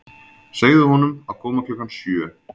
Segðu honum að koma klukkan sjö.